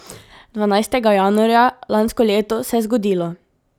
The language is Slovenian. Dvanajstega januarja lansko leto se je zgodilo.